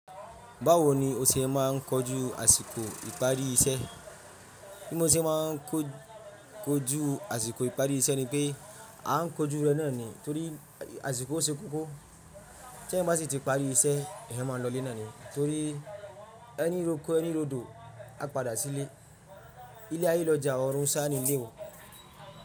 Báwo ni o ṣe máa ń kojú àsìkò ìparí iṣẹ́? Bí mo ṣe máa ń kojú àsìkò ìparí iṣẹ́ ni pé a ń kojú rẹ̀ lánàá ni torí àsìkò ṣe kókó. Ṣé bá ti parí iṣẹ́, èèyàn máa ń lọ ilé nàá ni torí ẹni lọ oko ẹni lódo, a padà sílé. Ilé ayé lọjà ọ̀run sá ni ilé.